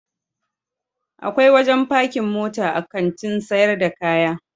Akwai wajen pakin mota a Kantin sayar da kaya.